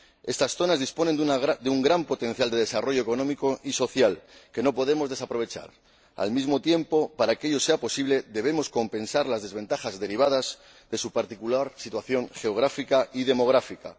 Estas zonas disponen de un gran potencial de desarrollo económico y social que no podemos desaprovechar. Al mismo tiempo, para que ello sea posible, debemos compensar las desventajas derivadas de su particular situación geográfica y demográfica.